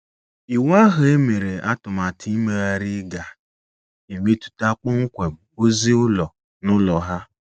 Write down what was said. Iwu ahụ e mere atụmatụ imegharị ga - emetụta kpọmkwem ozi ụlọ n’ụlọ ha.